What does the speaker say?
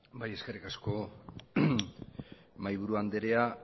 bai eskerrik asko mahaiburu anderea